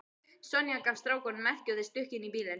Sonja gaf strákunum merki og þeir stukku inn í bílinn.